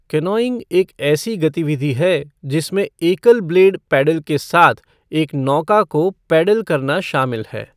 Canoeing एक ऐसी गतिविधि है जिसमें एकल ब्लेड पैडल के साथ एक नौका को पैडल करना शामिल है।